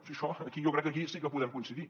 si això aquí jo crec que aquí sí que podem coincidir